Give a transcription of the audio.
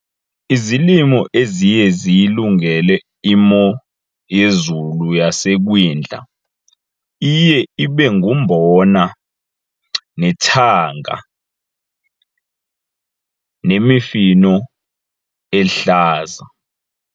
Izilimo eziye ziyilungele imo yezulu yasekwindla iye ibe ngumbona, nethanga, nemifino ehlaza.